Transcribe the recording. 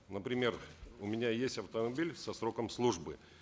например у меня есть автомобиль со сроком службы